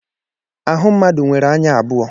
Ahụ mmadụ nwere anya abụọ.